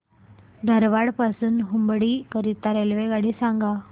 धारवाड पासून हुबळी करीता रेल्वेगाडी सांगा